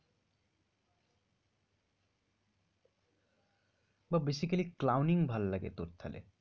বা basically clouning ভাল্লাগে তোর থালে।